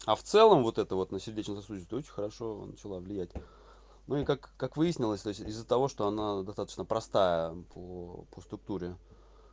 а в целом вот это вот на сердечно-сосудистую очень хорошо начала влиять ну и как как выяснилось то есть из-за того что она достаточно простая по по структуре